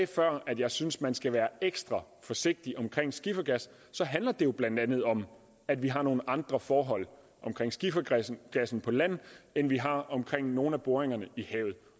at jeg synes man skal være ekstra forsigtig omkring skifergas så handler det jo blandt andet om at vi har nogle andre forhold omkring skifergassen på land end vi har omkring nogle af boringerne i havet